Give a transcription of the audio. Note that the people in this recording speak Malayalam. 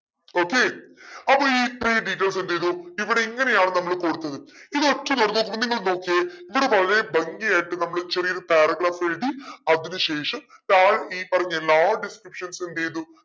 okay അപ്പൊ ഇത്രേഈ details എന്തെയ്തു ഇവിടെ ഇങ്ങനെയാണ് നമ്മൾ കൊടുത്തത് ഇതൊക്കെ നിങ്ങൾ നോക്കിയേ ഇവിടെ വളരെ ഭംഗി ആയിട്ട് നമ്മൾ ചെറിയൊരു paragraph എഴുതി അതിന് ശേഷം താഴെ ഈ പറഞ്ഞ എല്ലാ descriptions ഉം എന്തെയ്തു